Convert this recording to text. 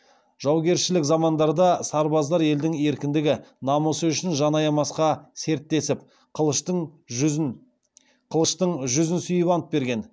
жаугершілік замандарда сарбаздар елдің еркіндігі намысы үшін жан аямасқа серттесіп қылыштың жүзін сүйіп ант берген